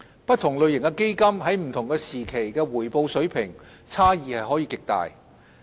不同類型的基金在不同時期的回報水平差異極大。